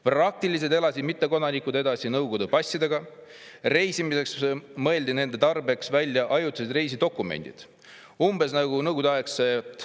Praktiliselt elasid mittekodanikud edasi Nõukogude passidega, reisimiseks mõeldi nende tarbeks välja ajutised reisidokumendid, umbes nagu Nõukogude-aegsed välispassid.